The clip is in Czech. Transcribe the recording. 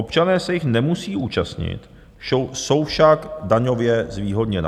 Občané se jich nemusí účastnit, jsou však daňově zvýhodněna.